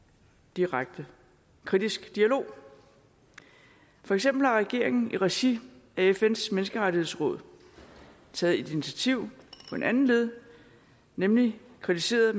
direkte kritisk dialog for eksempel har regeringen i regi af fns menneskerettighedsråd taget et initiativ på en anden led nemlig kritiseret